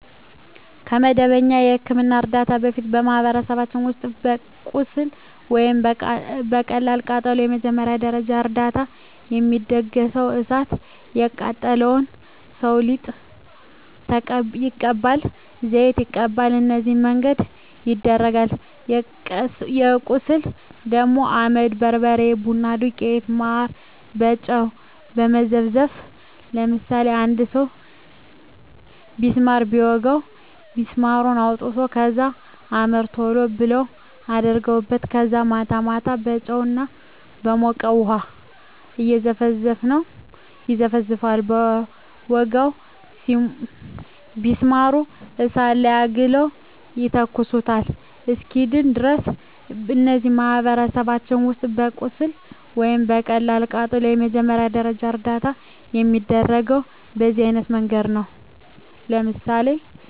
ከመደበኛ የሕክምና ዕርዳታ በፊት፣ በማኅበረሰባችን ውስጥ ለቁስል ወይም ለቀላል ቃጠሎ መጀመሪያ ደረጃ እርዳታ የሚደረገው እሣት የቃጠለው ሠው ሊጥ ይቀባል፤ ዘይት ይቀባል፤ በነዚህ መንገድ ይደረጋል። ለቁስል ደግሞ አመድ፤ በርበሬ፤ ቡና ዱቄት፤ ማር፤ በጨው መዘፍዘፍ፤ ለምሳሌ አንድ ሠው ቢስማር ቢወጋው ቢስማሩን አውጥተው ከዛ አመድ ቶሎ ብለው አደርጉበታል ከዛ ማታ ማታ በጨው እና በሞቀ ውሀ ይዘፈዝፈዋል በወጋው ቢስማር እሳት ላይ አግለው ይተኩሱታል እስኪድን ድረስ። እነዚህ በማኅበረሰባችን ውስጥ ለቁስል ወይም ለቀላል ቃጠሎ መጀመሪያ ደረጃ እርዳታ የሚደረገው በዚህ አይነት መንገድ ነው። ለምሳሌ